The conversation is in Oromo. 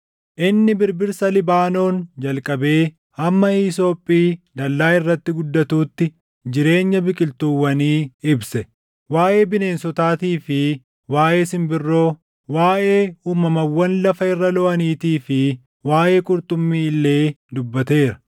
Inni birbirsa Libaanoon jalqabee hamma hiisophii dallaa irratti guddatuutti jireenya biqiltuuwwanii ibse. Waaʼee bineensotaatii fi waaʼee simbirroo, waaʼee uumamawwan lafa irra looʼaniitii fi waaʼee qurxummii illee dubbateera.